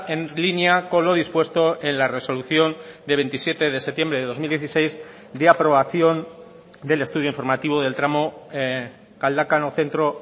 en línea con lo dispuesto en la resolución de veintisiete de septiembre de dos mil dieciséis de aprobación del estudio informativo del tramo galdakao centro